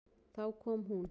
Þá kom hún.